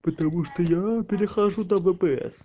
потому что я перехожу на впс